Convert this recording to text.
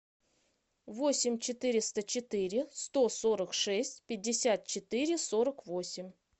восемь четыреста четыре сто сорок шесть пятьдесят четыре сорок восемь